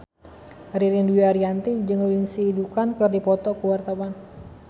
Ririn Dwi Ariyanti jeung Lindsay Ducan keur dipoto ku wartawan